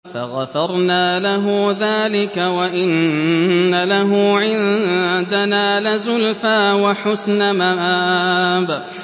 فَغَفَرْنَا لَهُ ذَٰلِكَ ۖ وَإِنَّ لَهُ عِندَنَا لَزُلْفَىٰ وَحُسْنَ مَآبٍ